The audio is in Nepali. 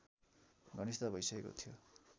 घनिष्ठता भइसकेको थियो